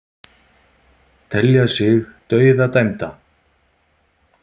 Telja sig dauðadæmda